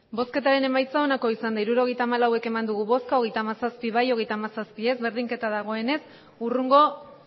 hirurogeita hamalau eman dugu bozka hogeita hamazazpi bai hogeita hamazazpi ez berdinketa dagoenez hurrengo